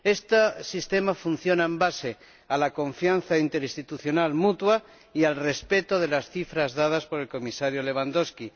Este sistema funciona sobre la base de la confianza interinstitucional mutua y el respeto de las cifras dadas por el Comisario Lewandowski.